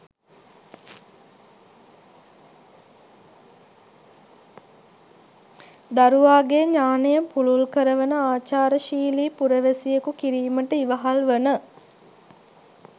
දරුවාගේ ඥානය පුළුල් කරවන ආචාරශීලි පුරවැසියෙකු කිරීමට ඉවහල් වන